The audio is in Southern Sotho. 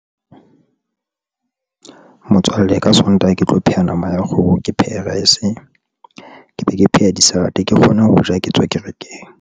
Motswalle ka sontaha ke tlo pheha nama ya kgoho, ke phehe rice, ke be ke pheha di-salad ke kgone ho ja, ha ke tswa kerekeng.